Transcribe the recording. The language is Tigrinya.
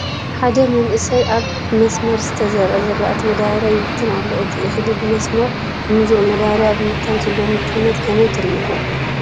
ሓደ መንእሰይ ኣብ ብመስመር ዝተዘርአ ዝራእቲ መዳበርያ ይብትን ኣሎ፡፡ እቲ እኽሊ ብመስመር ብምዝርኡ መዳበርያ ኣብ ምብታን ዝህልዎ ምቹውንት ከመይ ትርእይዎ?